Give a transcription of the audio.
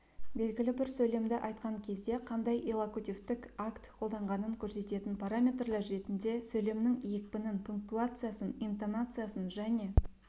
белгілі бір сөйлемді айтқан кезде қандай иллокутивтік акт қолданғанын көрсететін параметрлер ретінде сөйлемнің екпінін пунктуациясын интонациясын және